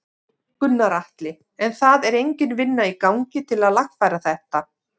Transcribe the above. Gunnar Atli: En það er engin vinna í gangi til að lagfæra þetta?